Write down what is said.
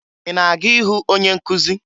Ị na-aga ịhụ onye nkụzi?